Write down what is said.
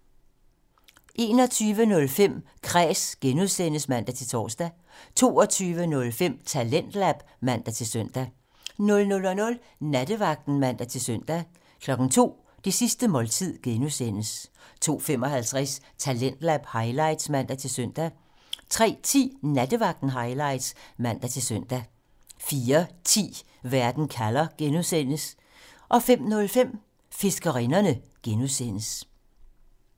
21:05: Kræs (G) (man-tor) 22:05: Talentlab (man-søn) 00:00: Nattevagten (man-søn) 02:00: Det sidste måltid (G) 02:55: Talentlab highlights (man-søn) 03:10: Nattevagten Highlights (man-søn) 04:10: Verden kalder (G) 05:05: Fiskerinderne (G)